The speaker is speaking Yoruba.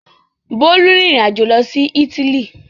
Bólú rìnrìn-àjò lọ sí Ítálì?